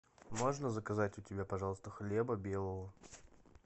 можно заказать у тебя пожалуйста хлеба белого